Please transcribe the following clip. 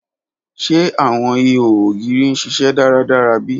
Ṣe awọn iho ogiri n ṣiṣẹ daradara bi?